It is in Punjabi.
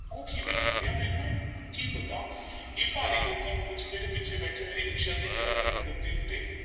ਉਹ ਕਿਵੇਂ ਬੰਤਿਆ? ਮੈਨੂੰ ਕੀ ਪਤਾ ਇਹ ਭਾਰੀ ਲੋਕਾਂ ਨੂੰ ਪੁੱਛ ਨਾ ਜਿਹੜੇ ਪਿੱਛੇ ਬੈਠੇ ਮੇਰੀ ਰਿਕਸ਼ਾ ਦੀ ਨਰਮ-ਨਰਮ ਗੱਦੀ ਉੱਤੇ,